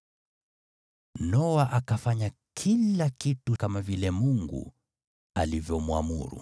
Noa akafanya kila kitu kama vile Mungu alivyomwamuru.